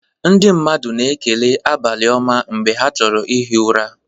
Ndị mmadụ ekelela "abalị-oma"mgbe ha na-achọ ihi ụra.